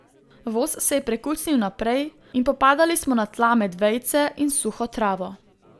Voz se je prekucnil naprej in popadali smo na tla med vejice in suho travo.